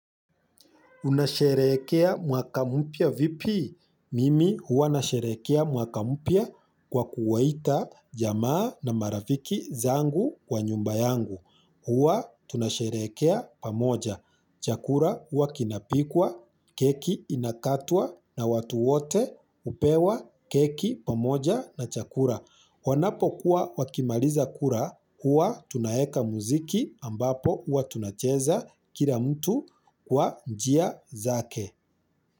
Unasherehekea mwaka mpya vipi? Mimi huwa nasherehekea mwaka mupya kwa kuwaita jamaa na marafiki zangu kwa nyumba yangu. Huwa tunasherehekea pamoja. Chakura huwa kinapikwa, keki inakatwa na watu wote upewa keki pamoja na chakura. Wanapokuwa wakimaliza kura kuwa tunaeka muziki ambapo huwa tunacheza kila mtu kwa njia zake.